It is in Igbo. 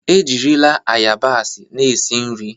Ejirila ayabasị na-esi nri.